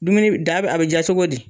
Dumuni da a bɛ ja cogo di?